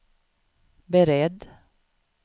beredd